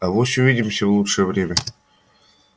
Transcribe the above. авось увидимся в лучшее время